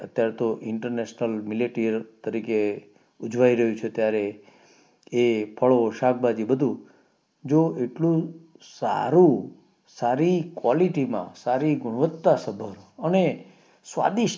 તરીકે ઉજવાઈ રહ્યું છે ત્યારે એ ફાળો શાકભાજી બધું જો એટલું સારું સારી quality માં સારી ગુણવત્તા સભર અને સ્વાદિષ્ટ